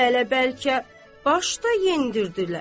Hələ bəlkə başda yendirdilər.